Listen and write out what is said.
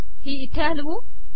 ही इथे हलवू